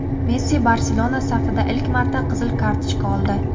Messi "Barcelona" safida ilk marta qizil kartochka oldi.